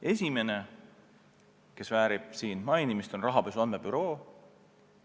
Esimesena tuleb nimetada rahapesu andmebürood.